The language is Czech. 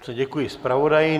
Děkuji zpravodaji.